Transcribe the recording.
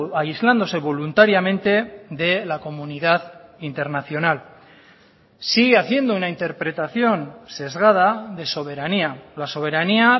aislándose voluntariamente de la comunidad internacional sigue haciendo una interpretación sesgada de soberanía la soberanía